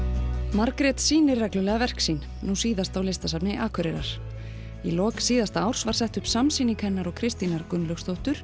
Margrét sýnir reglulega verk sín nú síðast á Listasafni Akureyrar í lok síðasta árs var sett upp samsýning hennar og Kristínar Gunnlaugsdóttur